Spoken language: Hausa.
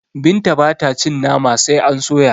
Binta bata cin Nama sai a soya